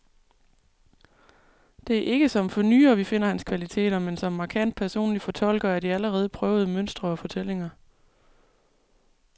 Det er ikke som fornyer, vi finder hans kvaliteter, men som markant personlig fortolker af de allerede prøvede mønstre og fortællinger.